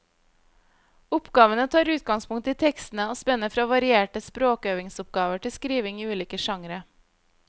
Oppgavene tar utgangspunkt i tekstene og spenner fra varierte språkøvingsoppgaver til skriving i ulike sjangre.